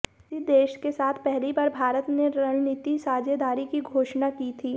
इसी देश के साथ पहली बार भारत ने रणनीतिक साझेदारी की घोषणा की थी